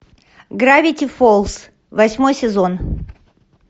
гравити фолз восьмой сезон